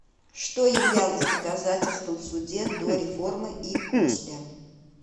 что являлось доказательством в суде до реформы и после